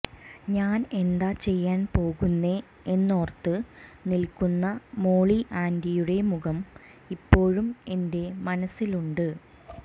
ഞാൻ എന്താ ചെയ്യാൻ പോകുന്നെ എന്നോർത്ത് നില്ക്കുന്ന മോളി ആന്റിയുടെ മുഖം ഇപ്പോഴും എന്റെ മനസ്സിൽ ഉണ്ട്